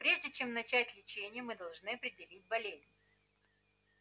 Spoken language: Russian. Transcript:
прежде чем начать лечение мы должны определить болезнь